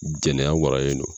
Jɛnɛya waralen do